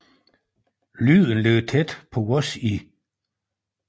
Lyden ligger tæt på vores i